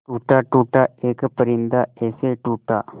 टूटा टूटा एक परिंदा ऐसे टूटा